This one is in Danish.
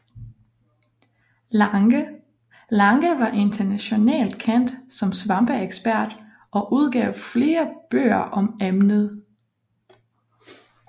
Lange var internationalt kendt som svampeekspert og udgav flere bøger om emnet